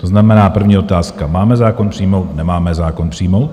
To znamená, první otázka: Máme zákon přijmout, nemáme zákon přijmout?